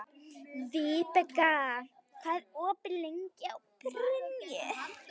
Vibeka, hvað er opið lengi í Brynju?